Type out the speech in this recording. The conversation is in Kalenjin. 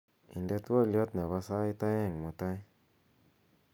inde twolyot nepo sait oeng' mutai